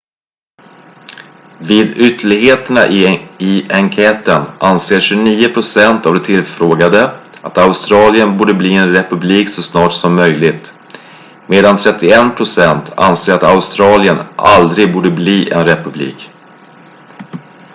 vid ytterligheterna i enkäten anser 29 procent av de tillfrågade att australien borde bli en republik så snart som möjligt medan 31 procent anser att australien aldrig borde bli en republik